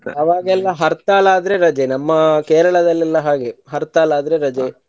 ಅವಾಗೆಲ್ಲಾ ಹರ್ತಾಳ ಆದ್ರೆ ರಜೆ ನಮ್ಮ ಕೇರಳದಲ್ಲೆಲ್ಲಾ ಹಾಗೆ ಹರ್ತಾಳ ಆದ್ರೆ ರಜೆ